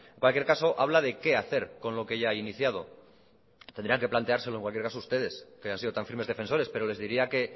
cualquier caso habla de qué hacer con lo que ya hay iniciado tendrían que planteárselo en cualquier caso ustedes que han sido tan firmes defensores pero les diría que